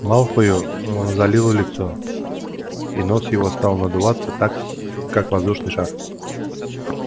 малфою ээ залило лицо и нос его стал надуваться так как воздушный шар